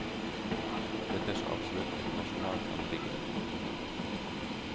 Dette er så absolutt et nasjonalt anliggende. punktum